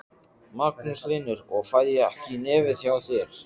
Magnús Hlynur: Og fæ ég ekki í nefið hjá þér?